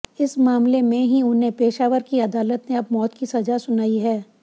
इस मामले में ही उन्हें पेशावर की अदालत ने अब मौत की सजा सुनाई है